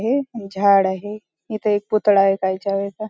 हे एक झाड आहे इथे एक पुतळा आहे --